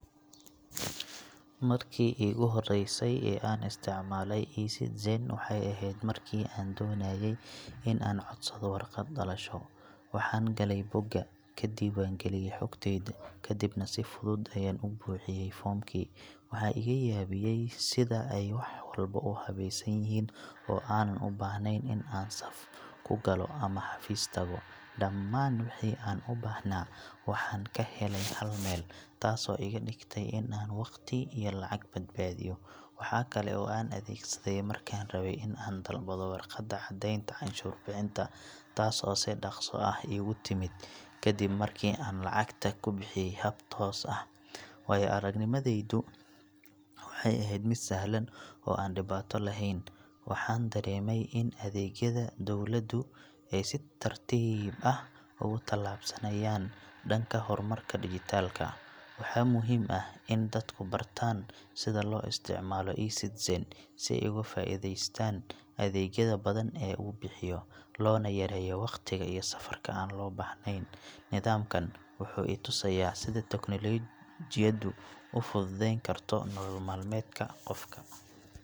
Markii iigu horreysay ee aan isticmaalay e-Citizen waxay ahayd markii aan doonayay in aan codsado warqad dhalasho. Waxaan galay bogga, ka diiwaangeliyay xogtayda, kadibna si fudud ayaan u buuxiyay foomkii. Waxa iga yaabiyay sida ay wax walba u habaysan yihiin oo aanan u baahnayn in aan saf ku galo ama xafiis tago. Dhammaan wixii aan u baahnaa waxaan ka helay hal meel, taasoo iga dhigtay in aan waqti iyo lacag badbaadiyo. Waxaa kale oo aan adeegsaday markaan rabay in aan dalbado warqadda caddeynta canshuur bixinta, taas oo si dhakhso ah iigu timid kadib markii aan lacagta ku bixiyay hab toos ah. Waayo-aragnimadaydu waxay ahayd mid sahlan oo aan dhibaato lahayn, waxaana dareemay in adeegyada dowladdu ay si tartiib tartiib ah ugu tallaabsanayaan dhanka horumarka dijitaalka. Waxaa muhiim ah in dadku bartaan sida loo isticmaalo e-Citizen si ay uga faa’iidaystaan adeegyada badan ee uu bixiyo, loona yareeyo waqtiga iyo safarka aan loo baahnayn. Nidaamkan wuxuu i tusay sida teknoolajiyaddu u fududeyn karto nolol maalmeedka qofka.